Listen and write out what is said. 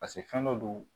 paseke fɛn dɔ do